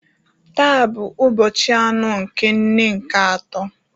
Taa bụ ụbọchị anọ nke nne nke atọ